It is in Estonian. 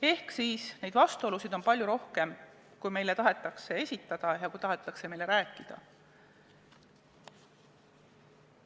Ehk et neid vastuolusid on palju rohkem, kui meile tahetakse esitada ja tahetakse rääkida.